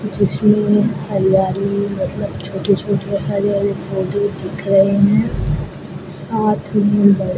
जिसमें हरियाली मतलब छोटे-छोटे हरे-हरे पौधे दिख रहे हैं साथ में बड़े --